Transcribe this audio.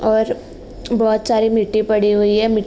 और बोहोत सारी मिट्टी पड़ी हुई है। मी --